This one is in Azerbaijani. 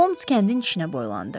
Holms kəndin içinə boylandı.